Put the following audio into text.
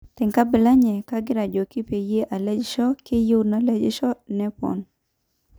Tenkabila enye, kagira ajoki peyi alejisho..''Keyieu nalejisho,''Nepon.